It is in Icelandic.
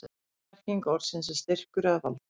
upprunaleg merking orðsins er styrkur eða vald